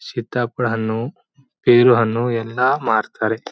ಸೀತಾಫಲ ಹಣ್ಣು ತೇರು ಹಣ್ಣು ಎಲ್ಲಾ ಮಾರ್ತಾರೆ.